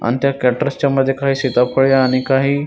आण त्या क्रॅट्स च्या मध्ये काही सिताफळे आणि काही--